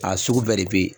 A sugu bɛɛ de bɛ yen